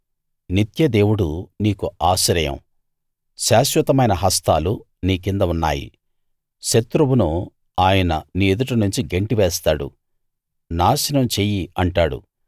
నిత్య దేవుడు నీకు ఆశ్రయం శాశ్వతమైన హస్తాలు నీ కింద ఉన్నాయి శత్రువును ఆయన నీ ఎదుట నుంచి గెంటి వేస్తాడు నాశనం చెయ్యి అంటాడు